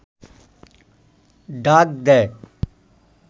ডাক দেয়